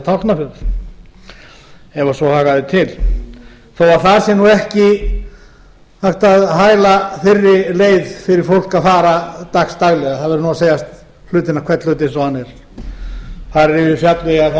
tálknafjörð ef svo hagaði til þó það sé ekki hægt að hæla fyrri leið fyrir fólk að fara dags daglega það verður að segja hvern hlut eins og hann er þar er yfir fjallvegi að